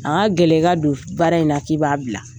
A ka gɛlɛ i ka don baara in na k'i b'a bila.